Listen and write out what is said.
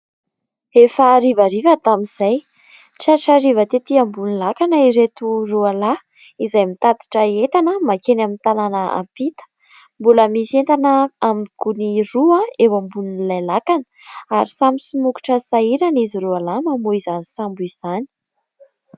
Efa harivariva tamin'izay, tratra hariva tetỳ ambony lakana ireto roa lahy, izay mitatitra entana mankeny amin'ny tanàna ampita. Mbola misy entana amin'ny gony roa eo ambonin'ilay lakana, ary samy somokotra sy sahirana izy roa lahy, mamohy izany sambo izany.